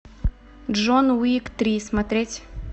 джон уик три смотреть